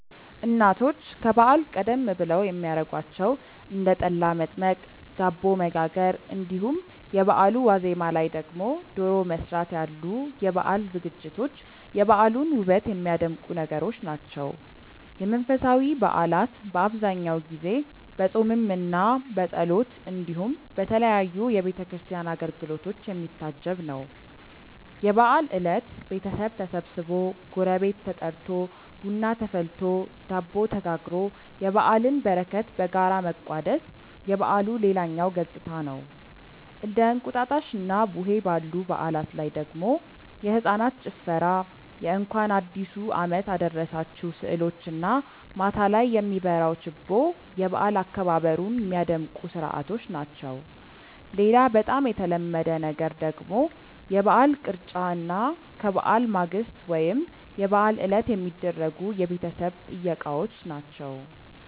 እናቶች ከበዓል ቀደም ብለው የሚያረጓቸው እንደ ጠላ መጥመቅ፣ ዳቦ መጋገር እንዲሁም የበአሉ ዋዜማ ላይ ደግሞ ዶሮ መስራት ያሉ የበዓል ዝግጅቶች የበዓሉን ውበት የሚያደምቁ ነገሮች ናቸው። የመንፈሳዊ በዓላት በአብዛኛው ጊዜ በፆምምና በጸሎት እንዲሁም በተለያዩ የቤተ ክርስቲያን አገልግሎቶች የሚታጀብ ነው። የበዓል እለት ቤተሰብ ተሰብስቦ፣ ጎረቤት ተጠርቶ፣ ቡና ተፈልቶ፣ ዳቦ ተጋግሮ የበዓልን በረከት በጋራ መቋደስ የበዓሉ ሌላኛው ገፅታ ነው። እንደ እንቁጣጣሽና ቡሄ ባሉ በዓላት ላይ ደግሞ የህፃናት ጭፈራ የእንኳን አዲሱ አመት አደረሳችሁ ስዕሎች እና ማታ ላይ የሚበራው ችቦ የበዓል አከባበሩን ሚያደምቁ ስርዓቶች ናቸው። ሌላ በጣም የተለመደ ነገር ደግሞ የበዓል ቅርጫ እና ከበዓል ማግስት ወይም የበዓል ዕለት የሚደረጉ የቤተሰብ ጥየቃዎች ናቸው።